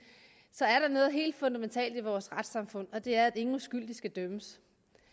så er der noget helt fundamentalt i vores retssamfund og det er at ingen uskyldige skal dømmes